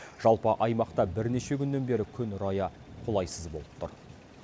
жалпы аймақта бірнеше күннен бері күн райы қолайсыз болып тұр